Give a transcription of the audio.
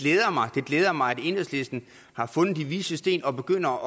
det glæder mig at enhedslisten har fundet de vises sten og begynder